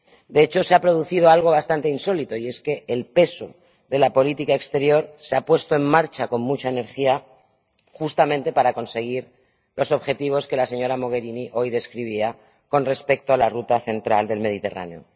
De hecho, se ha producido algo bastante insólito y es que el peso de la política exterior se ha puesto en marcha con mucha energía, justamente para conseguir los objetivos que la señora Mogherini hoy describía con respecto a la ruta central del Mediterráneo.